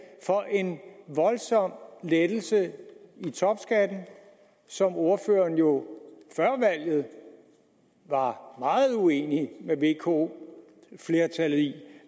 for en voldsom lettelse i topskatten som ordføreren jo før valget var meget uenig med vko flertallet i